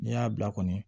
N'i y'a bila kɔni